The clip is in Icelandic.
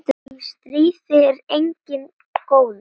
Í stríði er enginn góður.